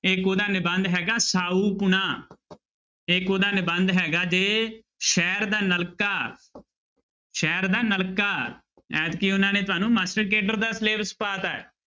ਇੱਕ ਉਹਦਾ ਨਿਬੰਧ ਹੈਗਾ ਸਾਊਪੁਣਾ ਇੱਕ ਉਹਦਾ ਨਿਬੰਧ ਹੈਗਾ ਜੀ ਸ਼ਹਿਰ ਦਾ ਨਲਕਾ ਸ਼ਹਿਰ ਦਾ ਨਲਕਾ ਐਤਕੀ ਉਹਨਾਂ ਨੇ ਤੁਹਾਨੂੰ ਮਾਸਟਰ ਕੇਡਰ ਦਾ syllabus ਪਾ ਦਿੱਤਾ ਹੈ।